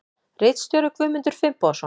Ritstjóri Guðmundur Finnbogason.